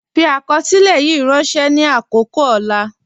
Fi akọsilẹ̀ yìí rànṣẹ ni akọkọ ọlà.